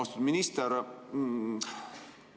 Austatud minister!